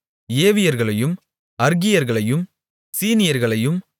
ஏவியர்களையும் அர்கீயர்களையும் சீனியர்களையும்